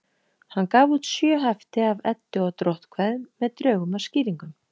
Hann gaf út sjö hefti af Eddu- og dróttkvæðum með drögum að skýringum.